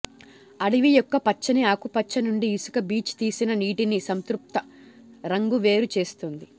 అడవి యొక్క పచ్చని ఆకుపచ్చ నుండి ఇసుక బీచ్ తీసిన నీటిని సంతృప్త రంగు వేరు చేస్తుంది